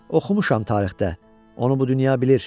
Oxumuşam tarixdə, onu bu dünya bilir.